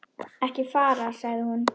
Ekki fara, sagði hún.